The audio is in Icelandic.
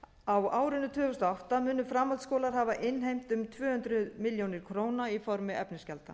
á árinu tvö þúsund og átta munu framhaldsskólar hafa innheimt um tvö hundruð milljóna króna í formi efnisgjalda